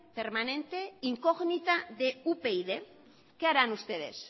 permanente incógnita de upyd qué harán ustedes